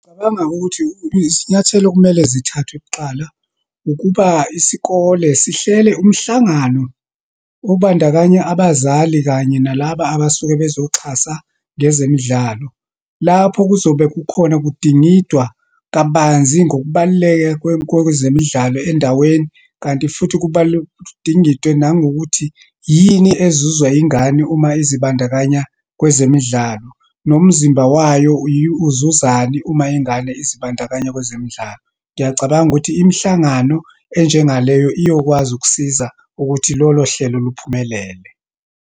Ngicabanga ukuthi isinyathelo ekumele zithathwe kuqala, ukuba isikole sihlele umhlangano obandakanya abazali kanye nalaba abasuke bezoxhasa ngezemidlalo. Lapho kuzobe kukhona kudingidwa kabanzi ngokubaluleka kwezemidlalo endaweni, kanti futhi kudingidwe nangokuthi yini ezuzwa ingane uma ezibandakanya kwezemidlalo, nomzimba wayo uzuzani uma ingane izibandakanya kwezemidlalo. Ngiyacabanga ukuthi imihlangano enjengaleyo iyokwazi ukusiza ukuthi lolohlelo liphumelele.